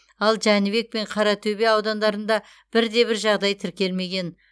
ал жәнібек және қаратөбе аудандарында бір де бір жағдай тіркелмеген